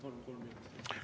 Ma palun kolm minutit lisaaega.